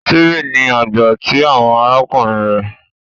Steven ní àgbà ti àwọn arákùnrin rẹ